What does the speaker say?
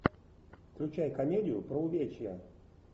включай комедию про увечья